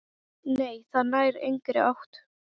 Nei, það nær engri átt.